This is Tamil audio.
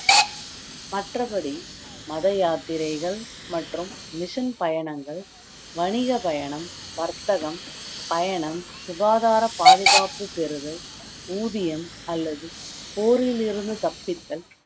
மற்றபடி மத யாத்திரைகள் மற்றும் mission பயணங்கள், வணிக பயணம், வர்த்தகம் பயணம், சுகாதார பாதுகாப்பு பெறுதல், ஊதியம் அல்லது போரிலிருந்து தப்பித்தல்